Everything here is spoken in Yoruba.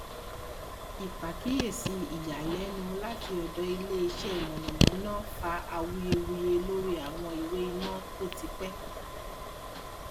ìpàkíyèsí ìyàlénu láti ọdọ ilé iṣẹ mọnàmọná fa awuyewuye lórí àwọn ìwé iná to ti pẹ